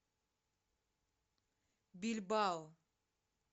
бильбао